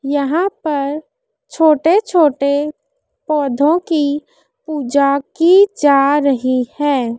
यहां पर छोटे छोटे पौधों की पुजा की जा रही है।